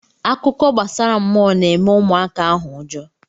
Akụkọ gbasara mmụọ na-eme ụmụaka ahụ ụjọ.